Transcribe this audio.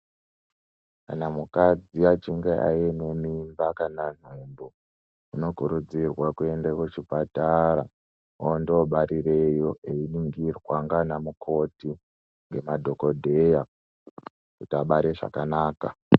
Kana mukadzi achinge aine mimba kana nhumbu unokurudzirwa kuenda kuchipatara ondoobarireyo einingirwa ngaana mukoti nemadhokodheya kuti abare zvakanaka.